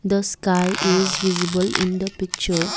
the sky is visible in the picture.